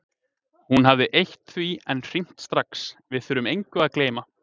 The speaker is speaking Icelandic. Hún hafði eytt því en hringt strax: Við þurfum engu að gleyma.